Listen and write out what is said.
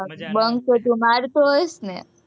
bunk તો તું મારતો હોઈશ ને?